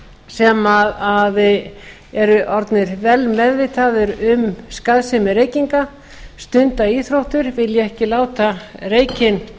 sem eru orðnir vel meðvitaðir um skaðsemi reykinga stunda íþróttir vilja ekki láta reykinn